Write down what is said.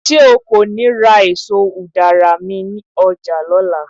ṣe o ko ni ra eso udara mi oja ni ọla